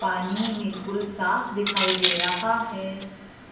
पानी बिल्कुल साफ दिखाई दे रहा है